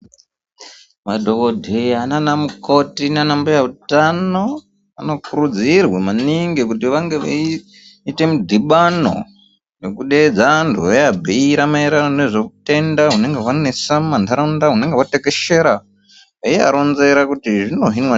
Madhokodheya nana mukoti nanambuya utano vanokurudzirwa maningi kuti vange veiite mudhibano nekudeedze anhu eabhuira maererano nezveutenda unenga hwanetsa mumadaraunda hunenge hwatekeshera eiabhuira kuti zvino hinwa